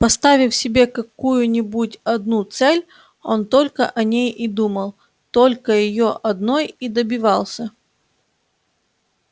поставив себе какую нибудь одну цель он только о ней и думал только её одной и добивался